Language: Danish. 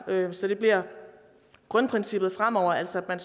så det bliver grundprincippet fremover altså at